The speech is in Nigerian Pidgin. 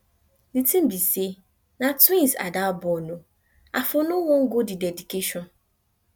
the thing be say na twins ada born ooo i for no wan go the dedication